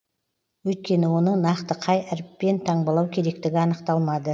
өйткені оны нақты қай әріппен таңбалау керектігі анықталмады